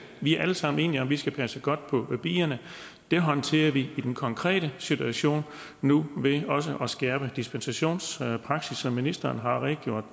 vi er alle sammen enige om vi skal passe godt på bierne og det håndterer vi i den konkrete situation nu ved også at skærpe dispensationspraksis som ministeren har redegjort